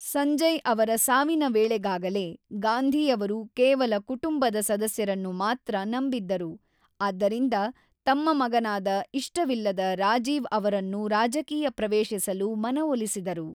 ಸಂಜಯ್ ಅವರ ಸಾವಿನ ವೇಳೆಗಾಗಲೇ, ಗಾಂಧಿ ಅವರು ಕೇವಲ ಕುಟುಂಬದ ಸದಸ್ಯರನ್ನು ಮಾತ್ರ ನಂಬಿದ್ದರು, ಆದ್ದರಿಂದ ತಮ್ಮ ಮಗನಾದ ಇಷ್ಟವಿಲ್ಲದ ರಾಜೀವ್ ಅವರನ್ನು ರಾಜಕೀಯ ಪ್ರವೇಶಿಸಲು ಮನವೊಲಿಸಿದರು.